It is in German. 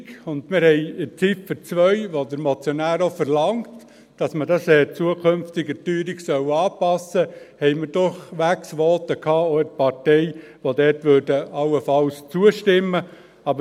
Wir hatten zu Ziffer 2, in welcher der Motionär auch verlangt, dass man das künftig der Teuerung anpassen solle, in der Partei auch Voten, die da allenfalls zustimmen würden.